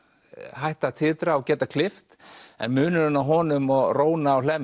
hætta að titra og geta klippt en munurinn á honum og róna á Hlemmi